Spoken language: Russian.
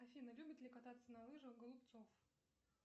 афина любит ли кататься на лыжах голубцов